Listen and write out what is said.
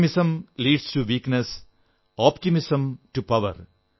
pessimism leads to weakness optimism to power